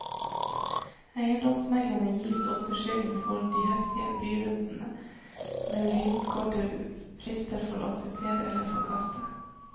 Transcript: Eiendomsmeglerne gis ofte skylden for de heftige budrundene med lynkorte frister for å akseptere eller forkaste.